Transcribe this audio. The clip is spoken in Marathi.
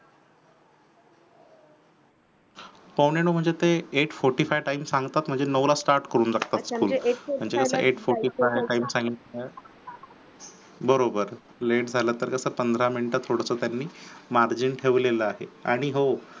पावणे नऊ म्हणजे ते एट फोर्टी फाइव time सांगतात म्हणजे नऊला start करून टाकतात school म्हणजे ते एट फॉर्टी फाईव time सांगितल्यास बरोबर late झालं तर कसं पंधरा मिनिटात सोडतो त्यांन margin ठेवलेल आहे आणि हो